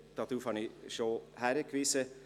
Darauf habe ich schon hingewiesen.